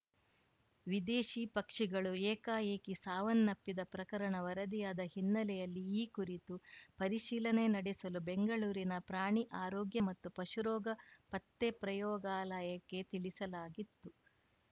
ವಿದೇಶಿ ಪಕ್ಷಿಗಳು ಏಕಾಏಕಿ ಸಾವನ್ನಪ್ಪಿದ ಪ್ರಕರಣ ವರದಿಯಾದ ಹಿನ್ನೆಲೆಯಲ್ಲಿ ಈ ಕುರಿತು ಪರಿಶೀಲನೆ ನಡೆಸಲು ಬೆಂಗಳೂರಿನ ಪ್ರಾಣಿ ಆರೋಗ್ಯ ಮತ್ತು ಪಶು ರೋಗ ಪತ್ತೆ ಪ್ರಯೋಗಾಲಯಕ್ಕೆ ತಿಳಿಸಲಾಗಿತ್ತು